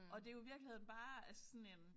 Og det jo i virkeligheden bare altså sådan en